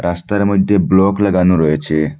রাস্তার মইধ্যে ব্লক লাগানো রয়েছে।